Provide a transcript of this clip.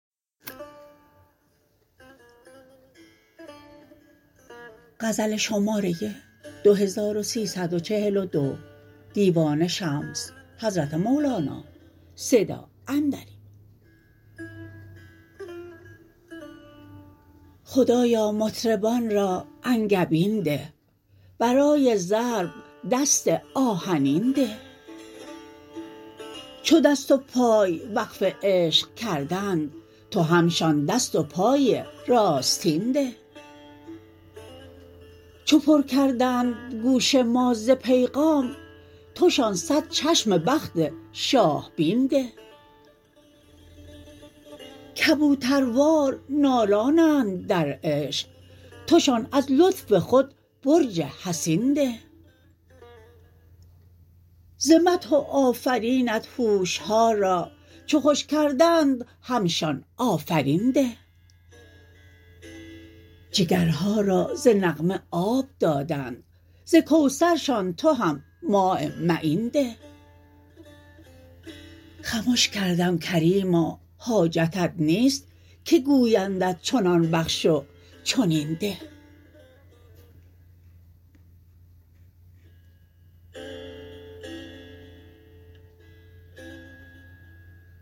خدایا مطربان را انگبین ده برای ضرب دست آهنین ده چو دست و پای وقف عشق کردند تو همشان دست و پای راستین ده چو پر کردند گوش ما ز پیغام توشان صد چشم بخت شاه بین ده کبوتروار نالانند در عشق توشان از لطف خود برج حصین ده ز مدح و آفرینت هوش ها را چو خوش کردند همشان آفرین ده جگرها را ز نغمه آب دادند ز کوثرشان تو هم ماء معین ده خمش کردم کریما حاجتت نیست که گویندت چنان بخش و چنین ده